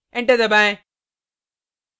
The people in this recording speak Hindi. enter दबाएँ